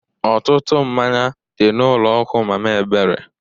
Ọtụtụ mmanya dị n'ụlọ nkwụ mama ebere.